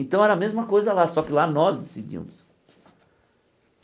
Então era a mesma coisa lá, só que lá nós decidimos.